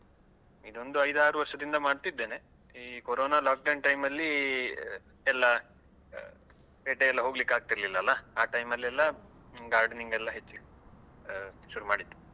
ಇದು ಒಂದು ಐದು ಆರು ವರ್ಷದಿಂದ ಮಾಡ್ತಿದ್ದೇನೆ ಈ ಕೋರೋನಾ lockdown time ಅಲ್ಲಿ ಎಲ್ಲ ಪೇಟೆಯೆಲ್ಲಾ ಹೋಗ್ಲಿಕ್ಕಾಗ್ತಿರ್ಲಿಲ್ಲ ಅಲಾ ಆ time ಅಲ್ಲೆಲ್ಲಾ gardening ಎಲ್ಲ ಹೆಚ್ಚು ಆ ಶುರು ಮಾಡಿದ್ದು.